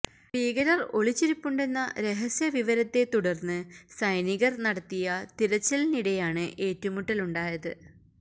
ഭീകരര് ഒളിച്ചിരിപ്പുണ്ടെന്ന രഹസ്യ വിവരത്തെ തുടര്ന്ന് സൈനികര് നടത്തിയ തിരച്ചിലിനിടെയാണ് ഏറ്റുമുട്ടല് ഉണ്ടായത്